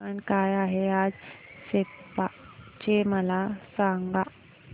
तापमान काय आहे आज सेप्पा चे मला सांगा